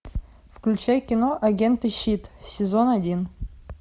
включай кино агенты щит сезон один